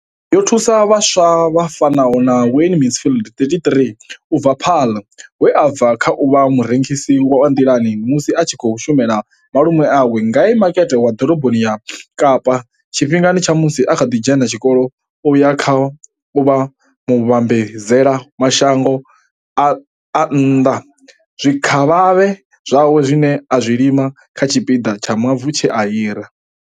Yo thusa vhaswa vha fanaho na Wayne Mansfield, 33, u bva Paarl, we a bva kha u vha murengisi wa nḓilani musi a tshi khou shumela malume awe ngei Makete wa Ḓoroboni ya Kapa tshifhingani tsha musi a kha ḓi dzhena tshikolo u ya kha u vha muvhambadzela mashango a nnḓa zwikavhavhe zwawe zwine a zwi lima kha tshipiḓa tsha mavu tshe a hira.